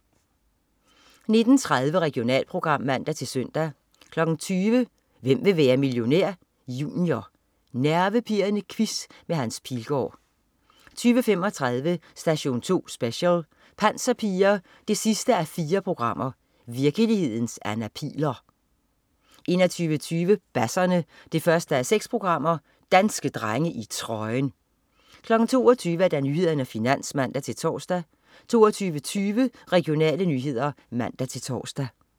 19.30 Regionalprogram (man-søn) 20.00 Hvem vil være millionær? Junior. Nervepirrende quiz med Hans Pilgaard 20.35 Station 2 Special: Panserpiger 4:4. Virkelighedens Anna Pihl'er 21.20 Basserne 1:6. Danske drenge i trøjen! 22.00 Nyhederne og Finans (man-tors) 22.20 Regionale nyheder (man-tors)